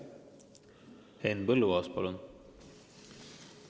Henn Põlluaas, palun!